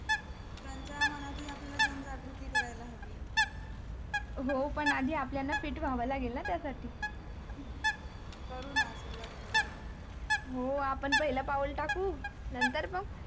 तेंच्या मानहती हे आपण जण जगरोटी करायला हवी हो पण आधी आपल्या ला fit होवा लागेल ना आधी करू ना सुरवात करू आपण हो आपण पहिला पाऊल टाकू नंतर मग